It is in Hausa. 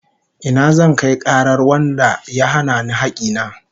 Ina zan kai karar wanda ya hana ni hakki na?